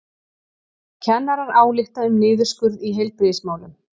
Kennarar álykta um niðurskurð í heilbrigðismálum